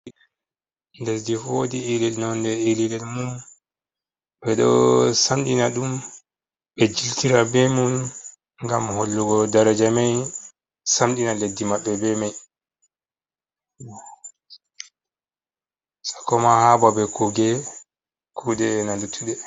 Lesdi fu woodi iri nonde ililel mum, ɓe ɗo samɗina ɗum, ɓe jiltira be mum, ngam hollugo daraja may, samɗina leddi maɓɓe be may, sakko ma haa babe kuuɗe, kuuɗe ena luttuɗe.